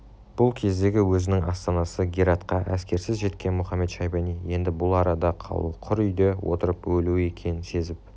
бұл кездегі өзінің астанасы гератқа әскерсіз жеткен мұхамед-шайбани енді бұл арада қалуы құр үйде отырып өлуі екенін сезіп